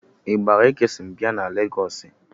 Ịgbara Ekesoni bịa na legọọsị?